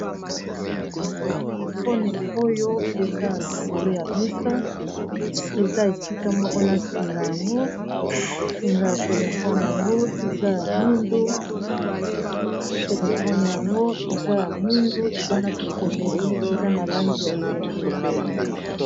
Telefone oyo eza likolo ya mesa eza esika moko na singa yango singa ya telefone yango eza ya mwindu telefone yango eza ya mwindu eza na bikomeli eza na langi ya pembe.